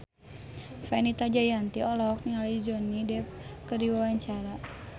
Fenita Jayanti olohok ningali Johnny Depp keur diwawancara